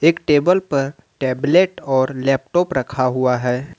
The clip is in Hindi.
टेबल पर टैबलेट और लैपटॉप रखा हुआ है।